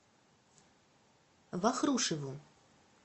вахрушеву